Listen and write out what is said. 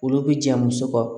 Olu bi ja muso kan